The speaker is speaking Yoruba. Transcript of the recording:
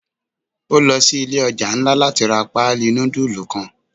O lo si ile oja nla lati ra paali nudulu kan.